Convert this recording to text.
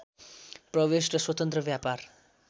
प्रवेश र स्वतन्त्र व्यापार